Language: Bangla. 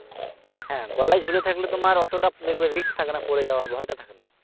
হ্যাঁ গলায় ঝুলে থাকলে তোমার অতটা দেখবে risk থাকে না পড়ে যাওয়ার ভয়টা থাকে না